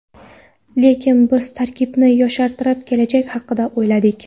Lekin biz tarkibni yoshartirib, kelajak haqida o‘yladik.